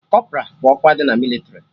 Kọpra bụ ọkwa dị na mịlịtrị